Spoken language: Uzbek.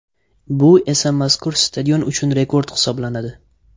Bu esa mazkur stadion uchun rekord hisoblanadi.